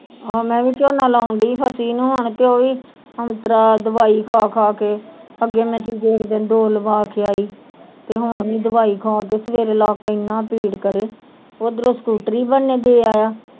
ਆਹੋ ਮੈ ਵੀ ਝੋਨਾ ਲਾਉਣ ਦੀ ਹਾ ਫੱਸੀ ਨੂੰ ਹੁਣ ਕੇ ਓਵੀ ਔਂਤਰਾ ਦਵਾਈ ਖਾ ਖਾ ਕੇ ਅੱਗੇ ਮੈ ਟੀਕੇ ਇਕ ਦਿਨ ਦੋ ਲਵਾ ਕੇ ਆਈ ਤੇ ਹੁਣ ਵੀ ਦਵਾਈ ਖਾ ਕੇ ਸਵੇਰੇ ਲੱਕ ਇਹਨਾਂ ਭੀੜ ਕਰੇ ਓਧਰੋ ਸਕੂਟਰੀ ਬਣਨੇ ਦੇ ਆਇਆ।